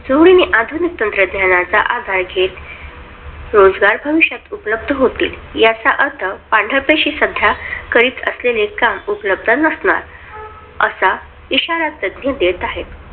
जोडीने आधुनिक तंत्रज्ञानाचा आधार घेत, रोजगार भविष्यात उपलब्ध होतील ह्याचा अर्थ पांढऱ्या पेशी सध्या कैद असलेले काम उपलब्ध नसणार असा इशारा तज्ञ देत आहेत.